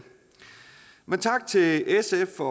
tak til sf for